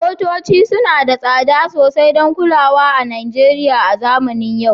Motoci suna da tsada sosai don kulawa a Najeriya a zamanin yau